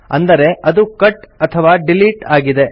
ಅಂದರೆ ಅದು ಕಟ್ ಅಥವಾ ಡಿಲೀಟ್ ಆಗಿದೆ